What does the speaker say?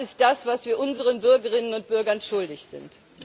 Das ist das, was wir unseren Bürgerinnen und Bürgern schuldig sind.